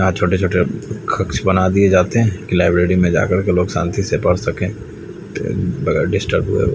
यहा छोटे छोटे कक्ष बना दिये जाते है लाइब्रेरी में जाकर के लोग शांति से पढ़ सके बगेर डिस्टर्ब हुए।